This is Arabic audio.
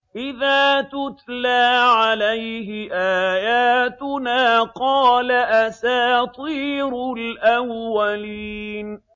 إِذَا تُتْلَىٰ عَلَيْهِ آيَاتُنَا قَالَ أَسَاطِيرُ الْأَوَّلِينَ